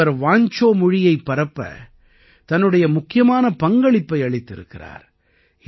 இவர் வாஞ்சோ மொழியைப் பரப்ப தன்னுடைய முக்கியமான பங்களிப்பை அளித்திருக்கிறார்